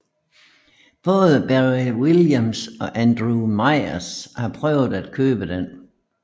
Både Barry Williams og Andrew Meyers har prøvet at købe den